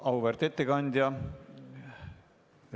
Auväärt ettekandja!